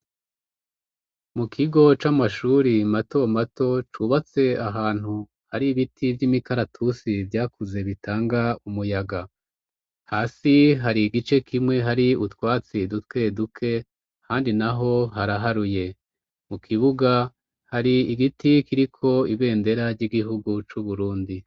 Mu kigo c'amashuri mato mato cubatse ahantu har'ibiti vy'imikaratusi, vyakuze bitanga umuyaga. Hasi hari igice kimwe hari utwatsi duke duke, ahandi naho haraharuye. Mu kibuga har'igiti kiriko ibendera ry'igihugu c'Uburundi.